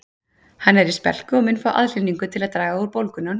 Hann er í spelku og mun fá aðhlynningu til að draga úr bólgunni á hnénu